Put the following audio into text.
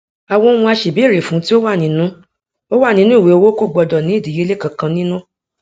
àwọn ohun aṣèbéèrè fún tí ó wà nínu ó wà nínu ìwé owó kò gbọdọ ní ìdíyelé kankan nínú